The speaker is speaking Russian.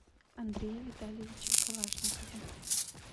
андрее витальевиче калашникове